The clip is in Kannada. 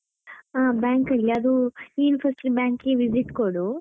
ಆ bank ಅಲ್ಲಿ, ಅದು ನೀನು first ಗೆ bank ಗೆ visit ಕೊಡು.